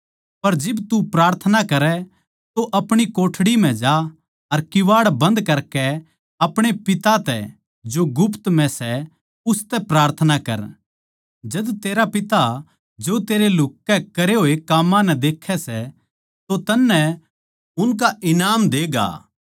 पर जिब तू प्रार्थना करै तो अपणी कोठड़ी म्ह जा अर किवाड़ बंद करकै अपणे पिता तै जो गुप्त म्ह सै उसतै प्रार्थना कर जद तेरा पिता जो तेरे लुह्क कै करे होए काम्मां नै देखै सै तो तन्नै उनका ईनाम देगा